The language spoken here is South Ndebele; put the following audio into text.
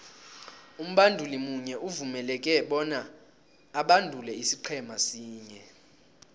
umbanduli munye uvumeleke bona abandule isiqhema sinye